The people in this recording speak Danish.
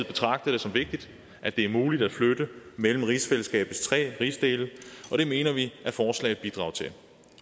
betragter det som vigtigt at det er muligt at flytte mellem rigsfællesskabets tre rigsdele og det mener vi at forslaget bidrager til